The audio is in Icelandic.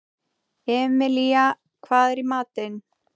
Emilía, hvað er í matinn?